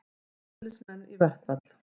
Slökkviliðsmenn í verkfall